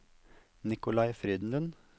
Nicolai Frydenlund